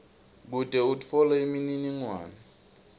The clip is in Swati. kute utfole imininingwane